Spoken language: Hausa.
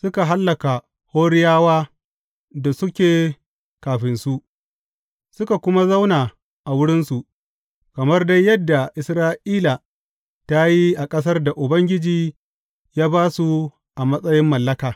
Suka hallaka Horiyawa da suke kafinsu, suka kuma zauna a wurinsu, kamar dai yadda Isra’ila ta yi a ƙasar da Ubangiji ya ba su a matsayin mallaka.